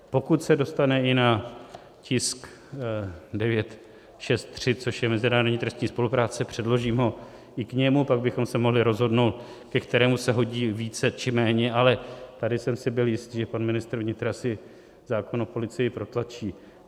Pokud se dostane i na tisk 963, což je mezinárodní trestní spolupráce, předložím ho i k němu, pak bychom se mohli rozhodnout, ke kterému se hodí více či méně, ale tady jsem si byl jist, že pan ministr vnitra si zákon o policii protlačí.